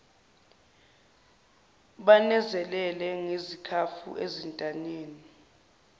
banezezele ngezikhafu ezintanyeni